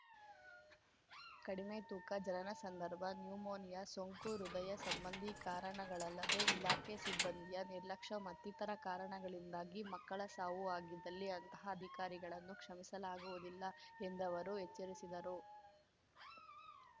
ಕಡಿಮೆ ತೂಕ ಜನನ ಸಂದರ್ಭ ನ್ಯೂಮೋನಿಯಾ ಸೋಂಕು ಹೃದಯ ಸಂಬಂಧಿ ಕಾರಣಗಳಲ್ಲದೇ ಇಲಾಖೆ ಸಿಬ್ಬಂದಿಯ ನಿರ್ಲಕ್ಷ ಮತ್ತಿತರ ಕಾರಣಗಳಿಂದಾಗಿ ಮಕ್ಕಳ ಸಾವು ಆಗಿದ್ದಲ್ಲಿ ಅಂತಹ ಅಧಿಕಾರಿಗಳನ್ನು ಕ್ಷಮಿಸಲಾಗುವುದಿಲ್ಲ ಎಂದವರು ಎಚ್ಚರಿಸಿದರು